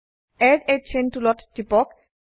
add a chain টুলত টিপক